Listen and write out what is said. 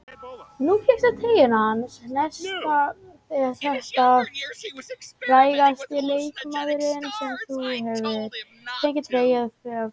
Nú fékkstu treyjuna hans Nesta, er þetta frægasti leikmaðurinn sem þú hefur fengið treyju hjá?